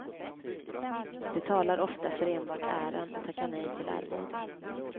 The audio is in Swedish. De talar ofta för enbart äran och tackar nej till arvode.